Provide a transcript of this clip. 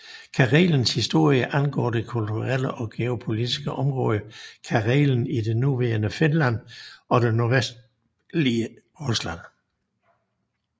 Karelens historie angår det kulturelle og geopolitiske område Karelen i det nuværende Finland og det nordvestlige Rusland